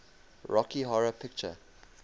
rocky horror picture